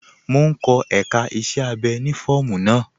Mò n kọ èká iṣẹ̀ abẹ́ ni fọọmu naa.